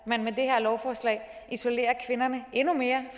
man med det her lovforslag isolerer kvinderne endnu mere